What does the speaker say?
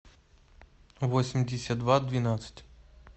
восемьдесят два двенадцать